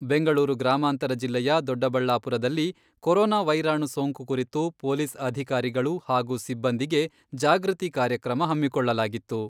ಬೆಂಗಳೂರು ಗ್ರಾಮಾಂತರ ಜಿಲ್ಲೆಯ ದೊಡ್ಡಬಳ್ಳಾಪುರದಲ್ಲಿ ಕೊರೊನಾ ವೈರಾಣು ಸೋಂಕು ಕುರಿತು ಪೊಲೀಸ್ ಅಧಿಕಾರಿಗಳು ಹಾಗೂ ಸಿಬ್ಬಂದಿಗೆ ಜಾಗೃತಿ ಕಾರ್ಯಕ್ರಮ ಹಮ್ಮಿಕೊಳ್ಳಲಾಗಿತ್ತು.